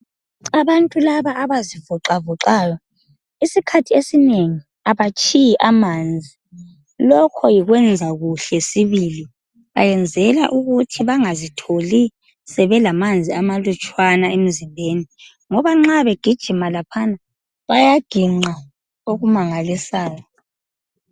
Abantu laba abazivoxavoxayo isikhathi esinengi abatshiyi amanzi lokho yikwenza kuhle sibili. Bayenzela ukuthi bangazitholi sebelamanzi amalutshwana emzimbeni ngoba nxa begijima laphana bayaginqa okumangalisayo.